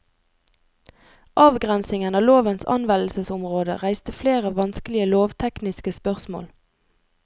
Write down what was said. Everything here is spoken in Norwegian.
Avgrensingen av lovens anvendelsesområde reiste flere vanskelige lovtekniske spørsmål.